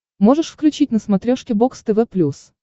можешь включить на смотрешке бокс тв плюс